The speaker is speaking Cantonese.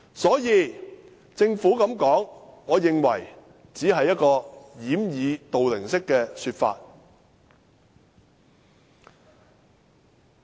所以，我認為政府這樣說，只是一種掩耳盜鈴式的說法。